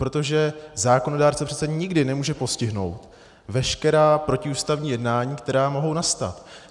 Protože zákonodárce přece nikdy nemůže postihnout veškerá protiústavní jednáním, která mohou nastat.